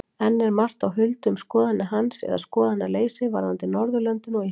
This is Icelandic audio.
Enn er margt á huldu um skoðanir hans eða skoðanaleysi varðandi Norðurlöndin og Ísland.